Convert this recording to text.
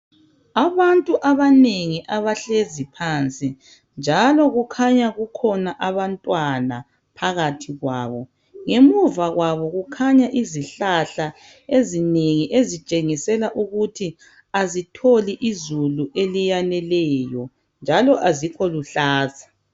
abantu abanengi abahleziphansi njalo kukhanya kukhona abantwana phakathi kwabo ngemuva kwabo kukhanya izihlahla ezinengi ezitshengisela ukuthi azitholi izulu eliyaneleyo njalo azikho luhlaza